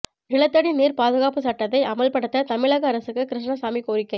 நிலத்தடி நீர் பாதுகாப்பு சட்டத்தை அமல்படுத்த தமிழக அரசுக்கு கிருஷ்ணசாமி கோரிக்கை